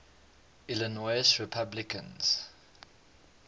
illinois republicans